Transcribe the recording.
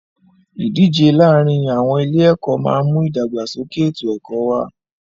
Ìdíje láàárin àwọn ilé ẹ̀kọ́ máà ń mú ìdàgbàsókè ètò ẹ̀kọ́ wá.